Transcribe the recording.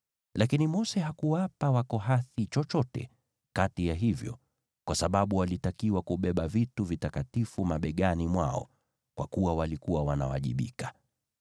Lakini Mose hakuwapa Wakohathi chochote kati ya hivyo, kwa sababu walitakiwa kubeba vitu vitakatifu mabegani mwao, vile walikuwa wanawajibika.